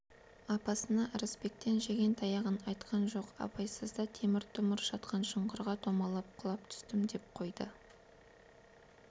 апасына ырысбектен жеген таяғын айтқан жоқ абайсызда темір-тұмыр жатқан шұңқырға домалап құлап түстім деп қойды